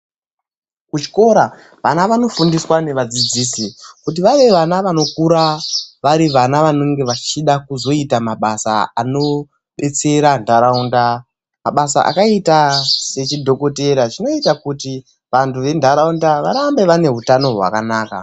Kuchikora vana vanofundiswa nevadzidzisi kuti vave vana vanokura vari vana vanenge vachida kuzoita mabasa anobetsera nharaunda, mabasa akataita sechidhokotera zvinoita kuti vantu venharaunda varambe vane utano hwakanaka.